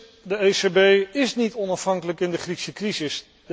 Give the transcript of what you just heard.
Het punt is, de ECB is niet onafhankelijk in de Griekse crisis.